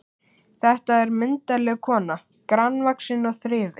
Þetta er myndarleg kona, grannvaxin og þrifin.